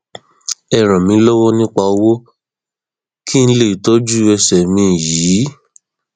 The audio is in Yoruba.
ẹ ràn mí lọwọ nípa owó kí n lè tọjú ẹsẹ mi yìí